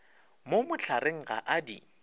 mo mohlareng ga a di